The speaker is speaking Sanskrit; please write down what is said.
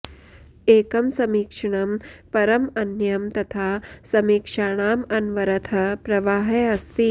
एकं समीक्षणं परम् अन्यं तथा समीक्षाणाम् अनवरतः प्रवाहः अस्ति